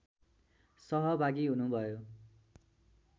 सहभागी हुनुभयो